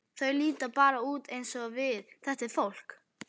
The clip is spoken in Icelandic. Þau líta bara út eins og við, þetta fólk.